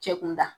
Cɛ kunda